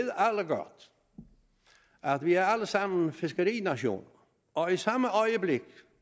godt at vi alle sammen er fiskerinationer og i samme øjeblik